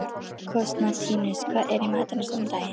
Konstantínus, hvað er í matinn á sunnudaginn?